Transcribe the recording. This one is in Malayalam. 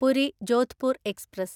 പുരി ജോധ്പൂർ എക്സ്പ്രസ്